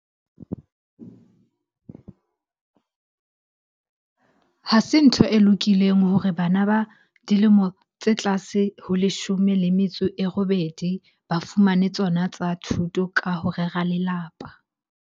Ha se ntho e lokileng hore bana ba dilemo tse tlase ho leshome le metso e robedi ba fumane tsona tsa thuto ka ho rera lelapa.